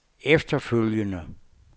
efterfølgende